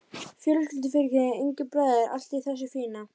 Fjölskyldufyrirtæki, engir bræður, allt í þessu fína.